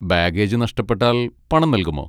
Baggage നഷ്ടപ്പെട്ടാൽ പണം നൽകുമോ?